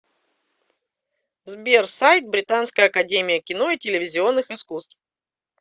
сбер сайт британская академия кино и телевизионных искусств